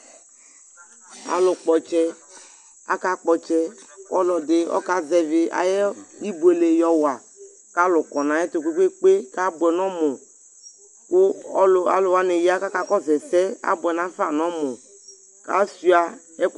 Alʋkpɔ ɔtsɛ, akakpɔ ɔtsɛ Ɔlɔdɩ ɔkazɛvɩ ayʋ ibuele yɔwa kʋ alʋ kɔ nʋ ayɛtʋ kpe-kpe-kpe kʋ abʋɛ nʋ ɔmʋ kʋ ɔlʋ alʋ wanɩ ya kʋ akakɔsʋ ɛsɛ Abʋɛ nafa nʋ ɔmʋ kʋ asʋɩa ɛkʋ